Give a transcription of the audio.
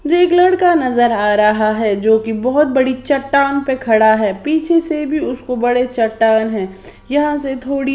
एक लड़का नजर आ रहा है जो कि बहुत बड़ी चट्टान पे खड़ा है पीछे से भी उसको बड़े चट्टान हैं यहां से थोड़ी--